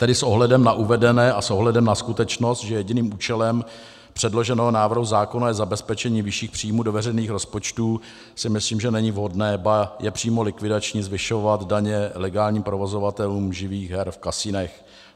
Tedy s ohledem na uvedené a s ohledem na skutečnost, že jediným účelem předloženého návrhu zákona je zabezpečení vyšších příjmů do veřejných rozpočtů, si myslím, že není vhodné, ba je přímo likvidační zvyšovat daně legálním provozovatelům živých her v kasinech.